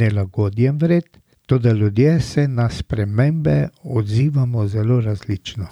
nelagodjem vred, toda ljudje se na spremembe odzivamo zelo različno.